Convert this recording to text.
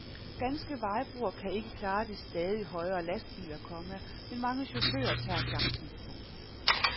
Danske vejbroer kan ikke klare de stadig højere lastbiler, komma men mange chauffører tager chancen. punktum